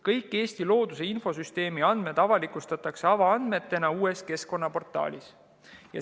Kõik Eesti looduse infosüsteemi andmed avalikustatakse avaandmetena uues keskkonnaportaalis.